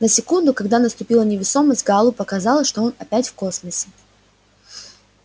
на секунду когда наступила невесомость гаалу показалось что он опять в космосе